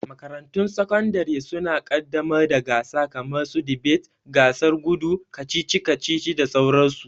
Makarantun sakandare suna ƙaddamar da gasa kamar su dibet, gasar gudu, kacici kacici da sauran su.